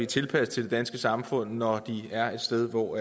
tilpasset det danske samfund når de er et sted hvor